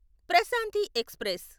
Prashanti express